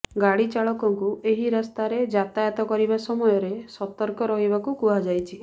ଗାଡ଼ି ଚାଳକଙ୍କୁ ଏହି ରାସ୍ତାରେ ଯାତାୟାତ କରିବା ସମୟରେ ସତର୍କ ରହିବାକୁ କୁହାଯାଇଛି